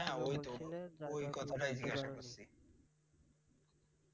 ঐ কথাটাই জিজ্ঞেস করছি।